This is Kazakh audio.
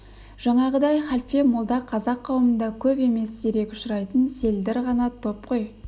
жаңағыдай халфе молда қазақ қауымында көп емес сирек ұшырайтын селдір ғана топ қой